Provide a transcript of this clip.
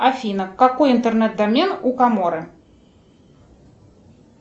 афина какой интернет домен у коморы